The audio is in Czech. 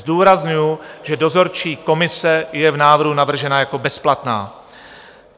Zdůrazňuji, že dozorčí komise je v návrhu navržena jako bezplatná.